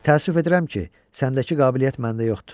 Təəssüf edirəm ki, səndəki qabiliyyət məndə yoxdur.